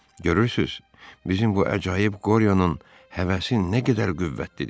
Görürsüz, bizim bu əcaib qoriyanın həvəsi nə qədər qüvvətlidir.